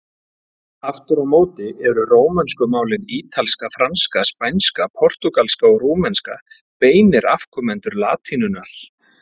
Aftur á móti eru rómönsku málin, ítalska, franska, spænska, portúgalska og rúmenska, beinir afkomendur latínunnar.